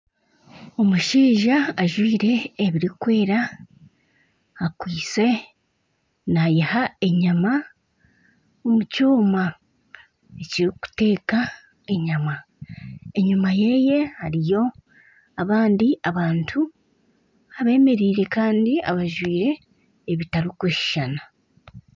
Omushaija ajwaire ebirikwera akwaiste naiha enyama omu kyoma ekirikuteeka enyama. Enyima ye hariyo abandi abantu abemereire kandi abajwaire ebitarikushushana.